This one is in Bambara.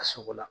A sogo la